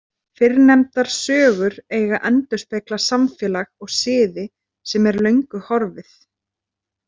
Fyrrnefndar sögur eiga að endurspegla samfélag og siði sem er löngu horfið.